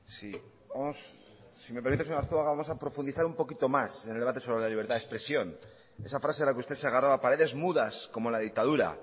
sí si me permite señor arzuaga vamos a profundizar un poquito más en el debate sobre la libertad de expresión esa frase a la que usted se agarraba paredes mudas como la dictadura